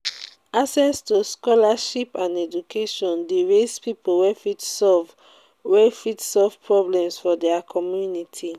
access to scholarship and education de raise pipo wey fit solve wey fit solve problems for their community